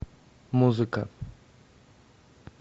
музыка